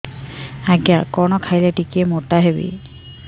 ଆଜ୍ଞା କଣ୍ ଖାଇଲେ ଟିକିଏ ମୋଟା ହେବି